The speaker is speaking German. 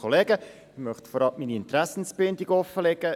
Ich möchte vorab meine Interessenbindung offenlegen.